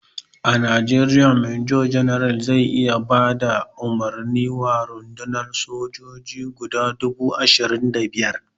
A Najeriya major general zai iya bada umarni wa rundunan sojoji guda dubu ashirin da biyar.